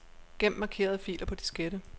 Gem markerede filer på diskette.